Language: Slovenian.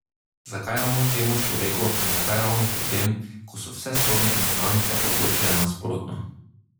Zakaj ravno temu človeku in zakaj po tem, ko so vse sodne instance odločile nasprotno?